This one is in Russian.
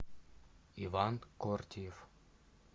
иван кортиев